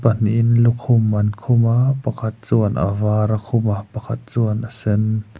pahnihin lukhum an khum a pakhat chuan a var a khum a pakhat chuan a sen.